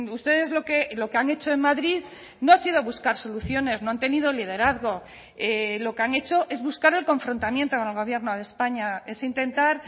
ustedes lo que han hecho en madrid no ha sido buscar soluciones no han tenido liderazgo lo que han hecho es buscar el confrontamiento con el gobierno de españa es intentar